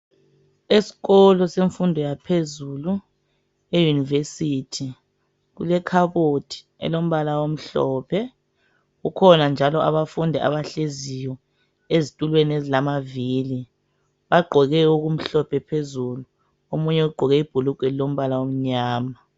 Esikolo semfundo yaphezulu e University kulekhabothi elombala omhlophe kukhona njalo abafundi abahleziyo ezitulweni ezilamavili bagqoke okumhlophe phezulu omunye ugqoke ibhulugwa elilombala omnyama